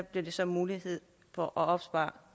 bliver der så mulighed for at opspare